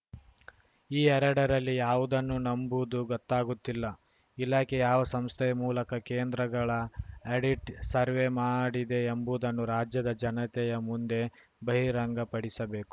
ಈ ಎರಡರಲ್ಲಿ ಯಾವುದನ್ನು ನಂಬುವುದು ಗೊತ್ತಾಗುತ್ತಿಲ್ಲ ಇಲಾಖೆ ಯಾವ ಸಂಸ್ಥೆಯ ಮೂಲಕ ಕೇಂದ್ರಗಳ ಆಡಿಟ್‌ ಸರ್ವೆ ಮಾಡಿದೆ ಎಂಬುದನ್ನು ರಾಜ್ಯದ ಜನತೆಯ ಮುಂದೆ ಬಹಿರಂಗಪಡಿಸಬೇಕು